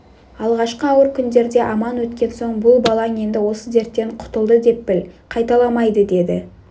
алғашқы ауыр күндерде аман өткен соң бұл балаң енді осы дерттен құтылды деп біл қайталамайды деді